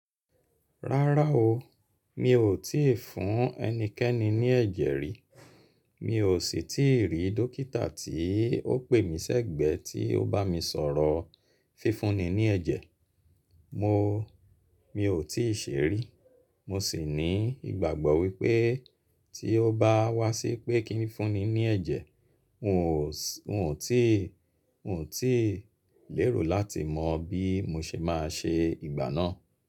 Rárá o, mi ò tíì fún ẹnikẹ́ni ní ẹ̀jẹ̀ rí. Mi ò sì tí rí dókítà tí ó pè mí sẹ́gbẹ̀ tí ó bá mi sọ̀rọ̀ fífúnni ní ẹ̀jẹ̀. Mo, mi ò tí ì ṣe rí. Mo sì ní ìgbàgbọ́ wípé tí ó bá wá sí pé kí n fúnni ní ẹ̀jẹ̀, n ò sì, n ò tíì, n ò tí ì lérò láti mọ bí mo ṣe máa ṣe ìgbà náà.